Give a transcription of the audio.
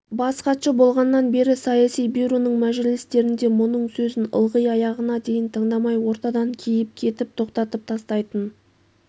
бас хатшы болғаннан бері саяси бюроның мәжілістерінде мұның сөзін ылғи аяғына дейін тыңдамай ортадан киіп кетіп тоқтатып тастайтын